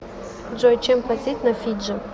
джой чем платить на фиджи